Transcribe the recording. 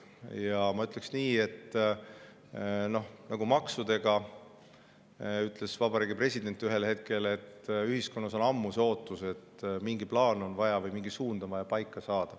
Ja ma ütlen nii, nagu maksude kohta ütles vabariigi president ühel hetkel, et ühiskonnas on ammu ootus, et mingi plaan või suund saadakse paika.